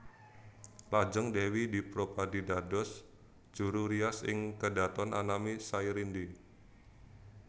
Lajeng Dèwi Dropadi dados juru rias ing kedhaton anami Sairindi